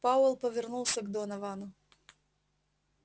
пауэлл повернулся к доновану